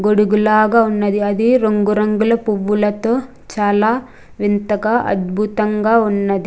గొడుగు లాగా ఉన్నది అది రంగురంగుల పువ్వులతో చాలా వింతగా అద్భుతంగా ఉన్నది.